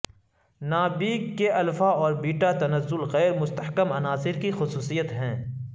نابیک کے الفا اور بیٹا تنزل غیر مستحکم عناصر کی خصوصیت ہیں